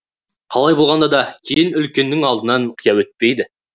қалай болғанда да келін үлкеннің алдынан қия өтпейді